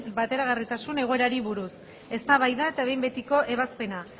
bateragarritasun egoerari buruz eztabaida eta behin betiko ebazpena